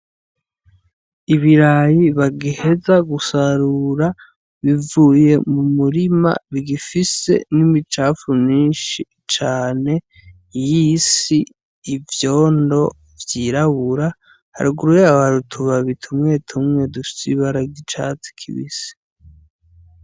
Ibirayi bagiheza gusarura bivuye mu murima bigifise n'imicapfu minshi cane y'isi ivyondo vyirabura haraguruye abarutu babitaumwe tumwe dushisibari gicatsi kibisi.